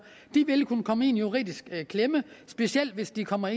vil kunne komme i en juridisk klemme specielt hvis de kommer